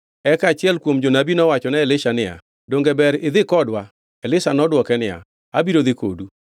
Eka achiel kuom jonabi nowachone Elisha niya, “Donge ber idhi kodwa?” Elisha nodwoke niya, “Abiro dhi kodu.”